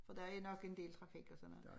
For der er nok en del trafik og sådan noget